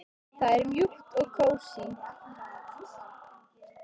Það er mjúkt og kósí.